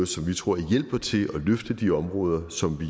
som vi tror hjælper til at løfte de områder som vi